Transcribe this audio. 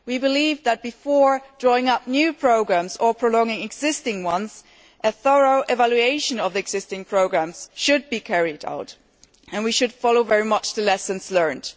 We believe that, before drawing up new programmes or prolonging existing ones, a thorough evaluation of the existing programmes should be carried out and we should very much follow the lessons learned.